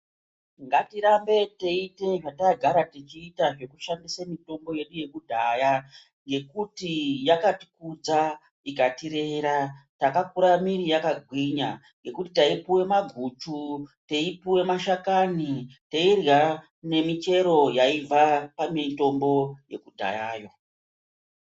Ngatirumbe techiita zvatiita zvekushandise mitombo yedu yekudhaya yekuti yakatikudza ikatirera yakakura yakagwinya ngekuti taipuwe maguchu, teipuwe mashakani, teirya ngemichero yaibva pamutombo yekudhayayo.